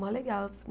Mó legal.